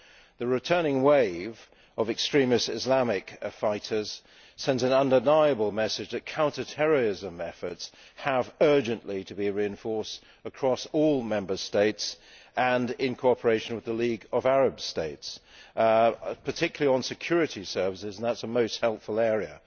The returning wave of extremist, Islamic fighters sends an undeniable message that counter terrorism efforts have urgently to be reinforced across all Member States and in cooperation with the League of Arab States, particularly on security services and that is a most helpful area.